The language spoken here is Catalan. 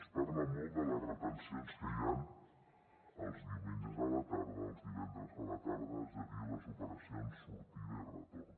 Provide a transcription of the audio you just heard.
es parla molt de les retencions que hi han els diumenges a la tarda els divendres a la tarda és a dir les operacions sortida i retorn